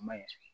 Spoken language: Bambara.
A ma ɲi